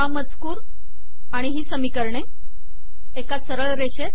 हा मजकूर आणि ही समीकरणे एका सरळ रेषेत